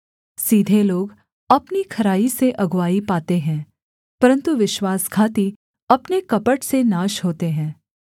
सीधे लोग अपनी खराई से अगुआई पाते हैं परन्तु विश्वासघाती अपने कपट से नाश होते हैं